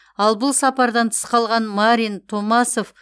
ал бұл сапардан тыс қалған марин томасов